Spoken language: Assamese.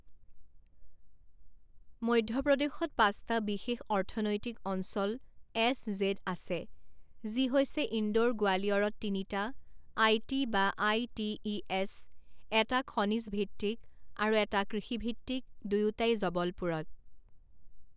মধ্যপ্ৰদেশত পাঁচটা বিশেষ অৰ্থনৈতিক অঞ্চল এছ জেদ আছে যি হৈছে ইন্দোৰ গোৱালিয়ৰত তিনিটা আইটি বা আইটিইএছ এটা খনিজ ভিত্তিক আৰু এটা কৃষিভিত্তিক দুয়োটাই জবলপুৰত।